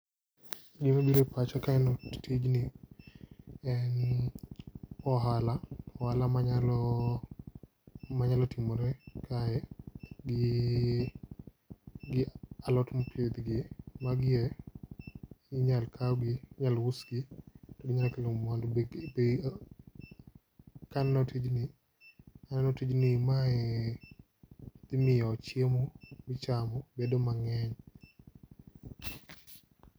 Gima bire pacha kaneno tijni en ohala ohala, manyalo manyalo timore kae gi gi alot mopidhgi . Magi e inyalo kaw gi inyal usgi ginyalo kelo mwandu be be kaneno tijni aneno tijni mae dhi miyo chiemo minyamo bedo mang'eny .